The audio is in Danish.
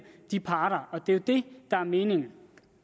de parter og det det der er meningen